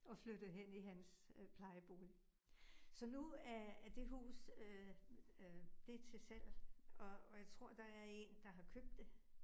Og flyttet hen i hans øh plejebolig. Så nu er er det hus øh øh det til salg, og og jeg tror der er 1, der har købt det